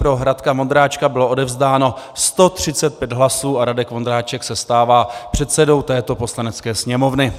Pro Radka Vondráčka bylo odevzdáno 135 hlasů a Radek Vondráček se stává předsedou této Poslanecké sněmovny.